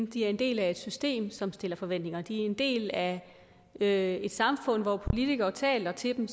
de er en del af et system som stiller forventninger de er en del af af et samfund hvor politikerne taler til dem